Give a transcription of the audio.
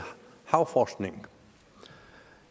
havforskning